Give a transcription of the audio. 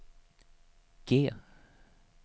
G